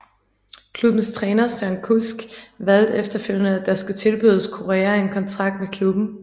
Klubbens træner Søren Kusk valgte efterfølgende at der skulle tilbydes Corea en kontrakt med klubben